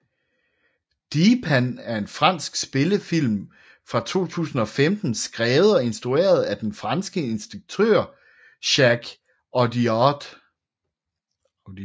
Dheepan er en fransk spillefilm fra 2015 skrevet og instrueret af den franske instruktør Jacques Audiard